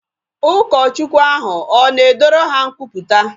Ụlọ Chukwu ahu na ọ na edoru ha nkwupụta?